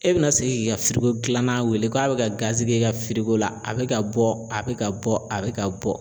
E bɛna segin k'i ka firiko gilanna wele k'a bɛ ka gazi kɛ i ka firiko la a bɛ ka bɔ a bɛ ka bɔ a bɛ ka bɔ.